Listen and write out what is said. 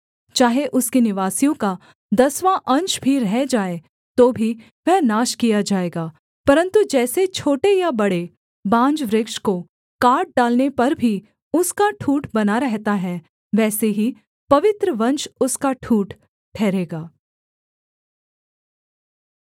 चाहे उसके निवासियों का दसवाँ अंश भी रह जाए तो भी वह नाश किया जाएगा परन्तु जैसे छोटे या बड़े बांज वृक्ष को काट डालने पर भी उसका ठूँठ बना रहता है वैसे ही पवित्र वंश उसका ठूँठ ठहरेगा